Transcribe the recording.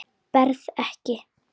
Berð ekki.